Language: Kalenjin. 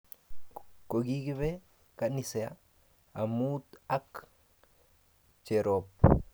Kokipe ganisa amut ak Jerop